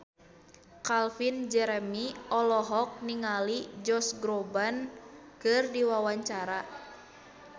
Calvin Jeremy olohok ningali Josh Groban keur diwawancara